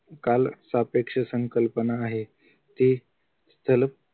काल सापेक्ष संकल्पना आहे ते स्थल